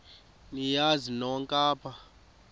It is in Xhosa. niyazi nonk apha